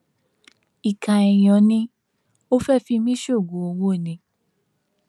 ìkà èèyàn ni ò fẹẹ fi mí sóògùn owó ni